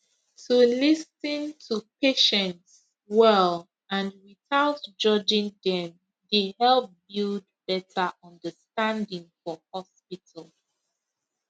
to lis ten to patients well and without judging dem dey help build better understanding for hospital